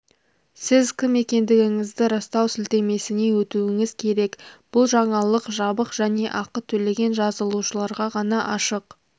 сіз кім екендігіңізді растау сілтемесіне өтуіңіз керек бұл жаңалық жабық және ақы төлеген жазылушыларға ғана ашық